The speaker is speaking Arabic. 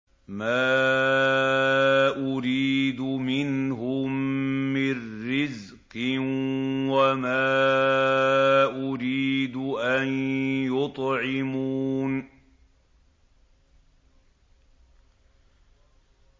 مَا أُرِيدُ مِنْهُم مِّن رِّزْقٍ وَمَا أُرِيدُ أَن يُطْعِمُونِ